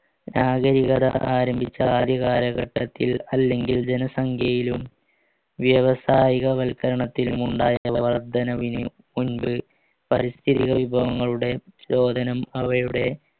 രാജ ആരംഭിച്ച ആദ്യ കാലഘട്ടത്തിൽ അല്ലെങ്കിൽ ജനസംഖ്യയിലും വ്യവസായികവൽക്കരണത്തിലും ഉണ്ടായ വർദ്ധനവിന് മുൻപ് പരിസ്ഥിതി വിഭവങ്ങളുടെ രോദനം അവയുടെ